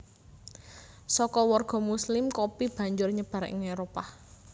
Saka warga muslim kopi banjur nyebar ing Éropah